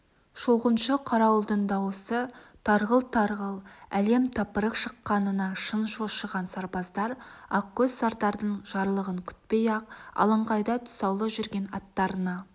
шолғыншы-қарауылдың дауысы тарғыл-тарғыл әлем-тапырық шыққанына шын шошыған сарбаздар ақкөз сардардың жарлығын күтпей-ақ алаңқайда тұсаулы жүрген аттарына